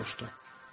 Yason soruşdu.